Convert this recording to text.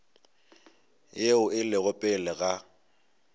yeo e lego pele ga